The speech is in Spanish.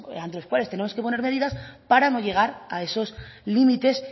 ante los cuales tenemos que poner medidas para no llegar a esos límites